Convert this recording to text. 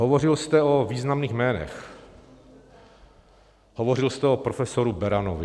Hovořil jste o významných jménech, hovořil jste o profesoru Beranovi.